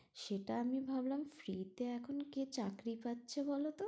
সেটা আমি ভাবলাম free তে এখন কে চাকরি পাচ্ছে বলতো?